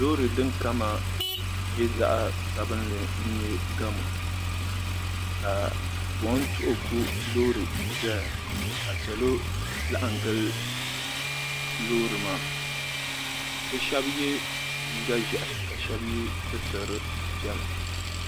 Loori din kama nye zaɣa sabinli n nye gamu ka buɣum tuhiku loori zaya ka salo laɣim gili loori maa bɛ sheba ye liiga ʒehi ka sheba ye sitiri piɛla.